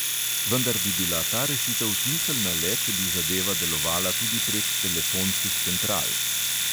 Vendar bi bila ta rešitev smiselna le, če bi zadeva delovala tudi prek telefonskih central.